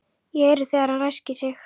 Ég heyri þegar hann ræskir sig.